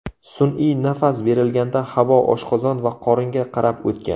Sun’iy nafas berilganda havo oshqozon va qoringa qarab o‘tgan.